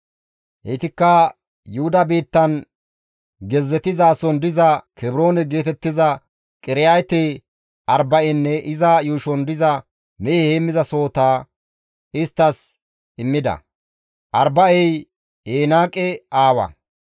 Heytikka Yuhuda biittan gezzetizason diza Kebroone geetettiza Qiriyaate-Arba7enne iza yuushon diza mehe heenththasohota isttas immida. (Arba7ey Enaaqe Aawaa.)